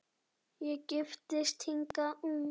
Ég giftist hingað ung